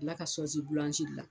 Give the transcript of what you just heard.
la ka sɔsi bulansi dilan.